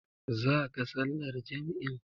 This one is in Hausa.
Zaka sallar jam'in.